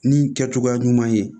Nin kɛcogoya ɲuman ye